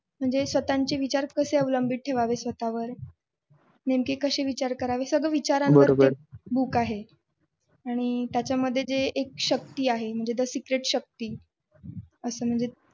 स्वतःची विचार कसा अवलंबित ठेवायचे स्वतःवर. नेमकी कशी विचार करावे सगळे विचारांवर ते book आहे आणि त्याच्यामध्ये एक शक्ती आहे आणि secret शक्ती असं म्हणजे